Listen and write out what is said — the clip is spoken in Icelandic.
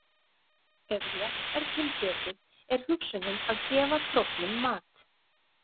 Ef rétt er til getið er hugsunin að gefa króknum mat.